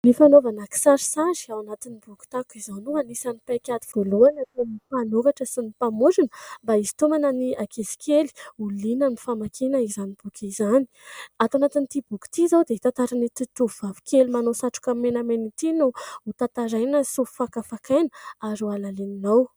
Ny fanaovana kisarisary ao anatin'ny boky tahaka izao no anisan'ny paikady voalohany ataon'ny mpanoratra sy ny mpamorona mba hisintomana ny ankizy kely ho liana amin'ny famakiana izany boky izany .Ato anatin'ity boky ity izao dia tantaran' ity tovovavy kely manao satroka menamena ity no ho tantaraina sy ho fakafakaina ary ho halalininao.